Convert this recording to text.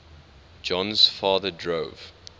jon's father drove